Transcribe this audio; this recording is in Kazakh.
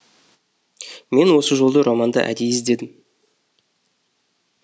мен осы жолды романда әдейі іздедім